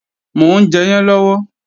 Mò ń jẹyán lọ́wọ́